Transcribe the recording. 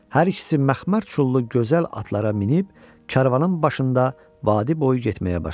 Hər ikisi məxmər çullu gözəl atlara minib, karvanın başında vadi boyu getməyə başladı.